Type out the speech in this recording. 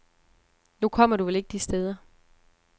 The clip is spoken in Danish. Nu kommer du vel ikke de steder.